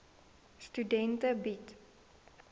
studente bied